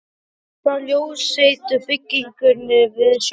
Í átt að ljósleitu byggingunni við sjóinn.